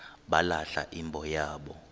balahla imbo yabo